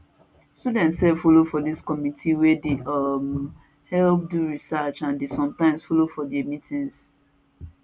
students sef follow for dis committee wey dey um help do research and dey sometimes follow for di meetings